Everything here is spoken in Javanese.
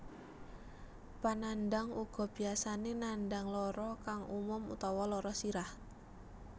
Panandhang uga biyasane nandhang lara kang umum utawa lara sirah